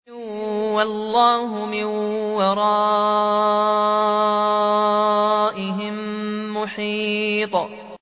وَاللَّهُ مِن وَرَائِهِم مُّحِيطٌ